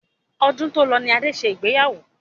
Ọdún tó lọ ní Adé ṣe ìgbéyàwó